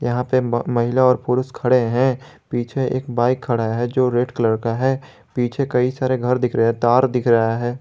यहां पर म महिला और पुरुष खड़े हैं पीछे एक बाइक खड़ा है जो रेड कलर का है पीछे कई सारे घर दिख रहे हैं तार दिख रहा हैं।